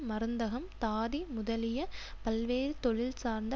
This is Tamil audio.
மருந்தகம் தாதி முதலிய பல்வேறு தொழில் சார்ந்த